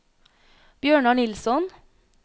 Bjørnar Nilsson